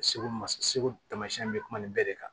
Segu ma segu tamasiyɛn bɛ kuma nin bɛɛ de kan